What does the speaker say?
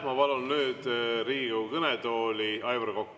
Ma palun nüüd Riigikogu kõnetooli, Aivar Kokk.